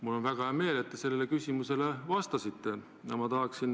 Mul on väga hea meel, et te sellele küsimusele vastasite!